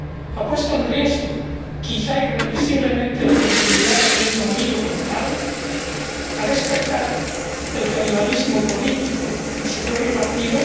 ha puesto en riesgo —quizá irreversiblemente— la continuidad del Reino Unido como tal ha despertado el canibalismo político en su propio partido